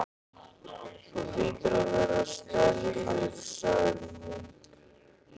Þú hlýtur að vera særður sagði hún.